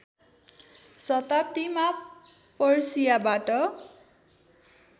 शताब्दीमा पर्सियाबाट